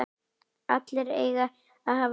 Allir eiga að hafa nóg.